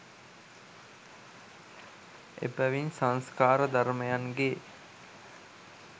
එබැවින් සංස්කාර ධර්මයන්ගේ